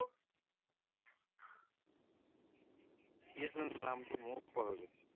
কি আছিলে জানো নামটো মইও পাহৰি গৈছো